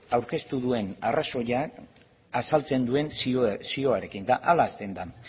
aurkeztu duen arrazoia azaltzen duen zioarekin eta horrela hasten da